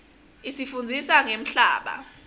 isifundzisa ngemhlaba